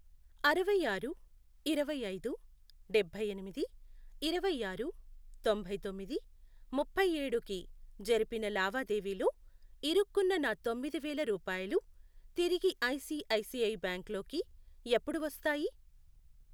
అరవై ఆరు, ఇరవై ఐదు, డబ్బై ఎనిమిది, ఇరవై ఆరు, తొంభై తొమ్మిది, ముప్పై ఏడు, కి జరిపిన లావాదేవీలో ఇరుక్కున్న నా తొమ్మిది వేల రూపాయలు తిరిగి I C I C I bank లోకి ఎప్పుడు వస్తాయి?